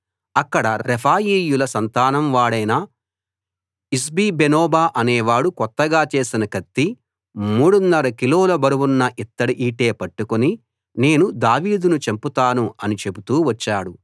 అక్కడ రెఫాయీయుల సంతానం వాడైన ఇష్బిబేనోబ అనేవాడు కొత్తగా చేసిన కత్తి మూడున్నర కిలోల బరువున్న ఇత్తడి ఈటె పట్టుకుని నేను దావీదును చంపుతాను అని చెబుతూ వచ్చాడు